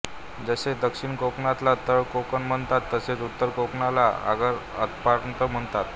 जसे दक्षिण कोकणाला तळ कोकण म्हणतात तसेच उत्तर कोकणाला आगर अपरांत म्हणतात